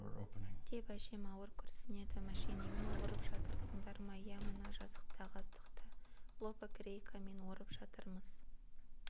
деп әжем ауыр күрсінеді мәшинемен орып жатырсыңдар ма иә мына жазықтағы астықты лобогрейкамен орып жатырмыз